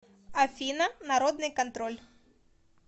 афина народный контроль